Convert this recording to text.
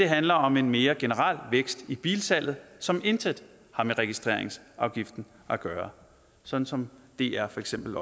handler om en mere generel vækst i bilsalget som intet har med registreringsafgiften at gøre sådan som dr for eksempel